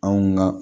Anw ka